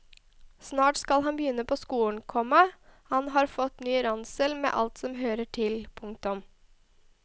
Snart skal han begynne på skolen, komma han har fått ny ransel med alt som hører til. punktum